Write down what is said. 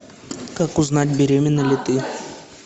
как узнать беременна ли ты